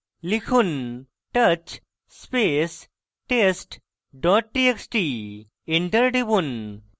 লিখুন: touch space test dot txt enter টিপুন